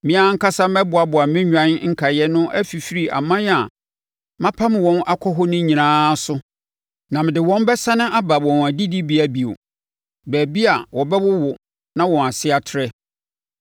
“Me ara ankasa mɛboaboa me nnwan nkaeɛ no afifiri aman a mapam wɔn akɔ hɔ nyinaa no so na mede wɔn bɛsane aba wɔn adidibea bio, baabi wɔbɛwowo na wɔn ase atrɛ.